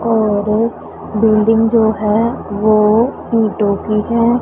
और बिल्डिंग जो है वो ईंटों की है।